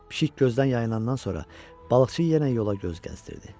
Pişik gözdən yayılandan sonra balıqçı yenə yola göz gəzdirdi.